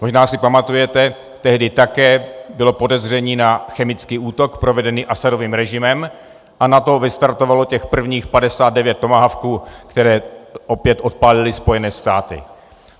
Možná si pamatujete, tehdy také bylo podezření na chemický útok provedený Asadovým režimem a na to vystartovalo těch prvních 59 tomahawků, které opět odpálily Spojené státy.